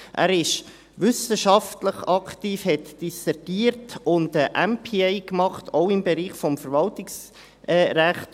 Es ist wissenschaftlich aktiv, hat dissertiert und einen Master of Public Administration (MPA) gemacht, auch im Bereich des Verwaltungsrechts.